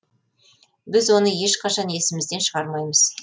біз оны ешқашан есімізден шығармаймыз